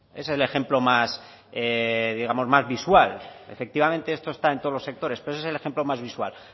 es el ejemplo más digamos más visual efectivamente esto está en todos los sectores pero ese es el ejemplo más visual